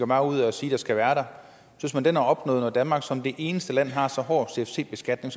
meget ud af sige skal være der er opnået når danmark som det eneste land har så hård en cfc beskatning